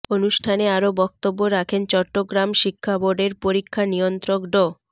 অনুষ্ঠানে আরও বক্তব্য রাখেন চট্টগ্রাম শিক্ষাবোর্ডের পরীক্ষা নিয়ন্ত্রক ড